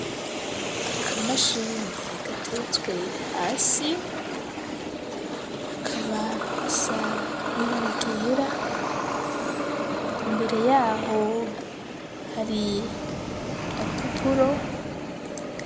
Aka mashini gateetswe hasi. Hakaba hasa n'ibara ryera imbere yaho hari agapapuro.